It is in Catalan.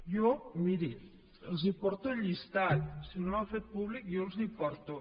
jo miri els porto el llistat si no l’han fet públic jo els el porto